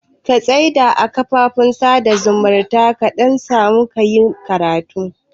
Ka tsai da duka kafafen sada zumuntar ka dan kasamu kayi karatu